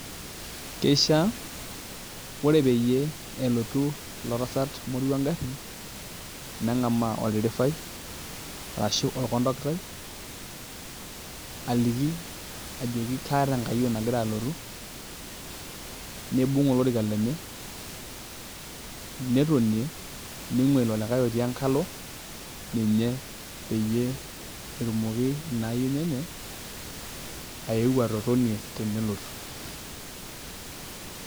Keishiaa Ore peyie elotu ilo tasat moruo engarri neng'amaa oldirifai arashu orkontokitai aliki ajoki kaata enkayioni nagira alotu niibung' olorika lenye netonie ning'uaa ilo likae otii enkalo ninye peyie etumoki ina ayioni enye ayeu atotonie tenelotu.